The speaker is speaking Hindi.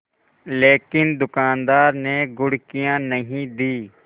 लेकिन दुकानदार ने घुड़कियाँ नहीं दीं